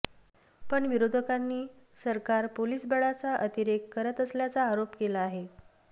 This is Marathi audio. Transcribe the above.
पण विरोधकांनी सरकार पोलीस बळाचा अतिरेक करत असल्याचा आरोप केला आहे